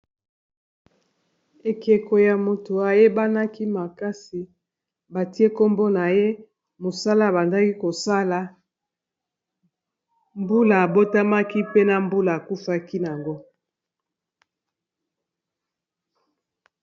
Ekeko ya moto, ayebanaki makasi. Batie kombo na ye, mosala abandaki kosala, mbula abotamaki, pena mbula akufaki nango.